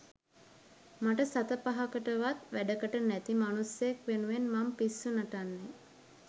මට සත පහකටවත් වැඩකට නැති මනුස්සයෙක් වෙනුවෙන් මං පිස්සු නටන්නේ